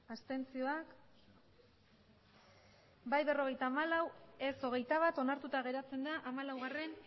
emandako botoak hirurogeita hamabost bai berrogeita hamalau ez hogeita bat onartuta geratzen da hamalaugarrena